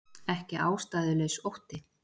Ekki ástæðulaus ótti